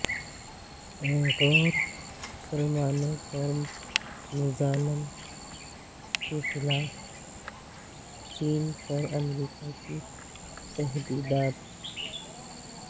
Uyghur مسلمانوں پر مظالم کے خلاف چین پر امریکہ کی تحدیدات